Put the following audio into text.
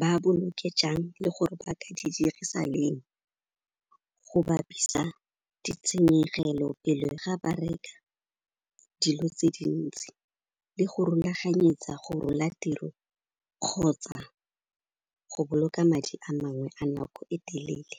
ba boloke jang le gore ba ka di dirisa leng go bapisa ditshenyegelo pele ga ba reka dilo tse dintsi le go rulaganyetsa go rola tiro kgotsa go boloka madi a mangwe a nako e telele.